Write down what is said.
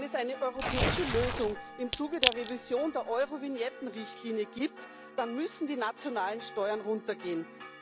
Wenn es eine europäische Lösung im Zuge der Revision der Eurovignetten Richtlinie gibt, dann müssen die nationalen Steuern runter gehen.